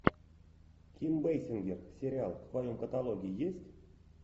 ким бейсингер сериал в твоем каталоге есть